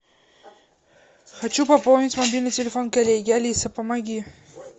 хочу пополнить мобильный телефон коллеге алиса помоги